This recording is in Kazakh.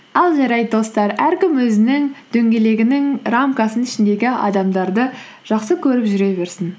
ал жарайды достар әркім өзінің дөңгелегінің рамкасының ішіндегі адамдарды жақсы көріп жүре берсін